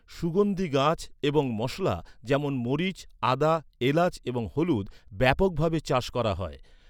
সুগন্ধি গাছ এবং মশলা যেমন মরিচ, আদা, এলাচ এবং হলুদ ব্যাপকভাবে চাষ করা হয়।